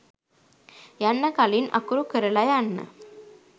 යන්න කලින් අකුරු කරල යන්න